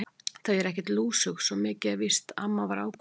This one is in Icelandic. Þau eru ekkert lúsug, svo mikið er víst amma var ákveðin.